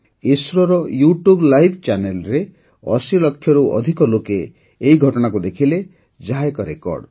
ଇସ୍ରୋର YouTube live ଚ୍ୟାନେଲ୍ରେ ୮୦ ଲକ୍ଷରୁ ଅଧିକ ଲୋକ ଏହି ଘଟଣାକୁ ଦେଖିଲେ ଯାହା ଏକ ରେକର୍ଡ଼